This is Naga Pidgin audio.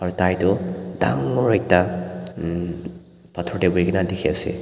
aro tai toh dangor ekta bhator tae buhikaena dikhiase.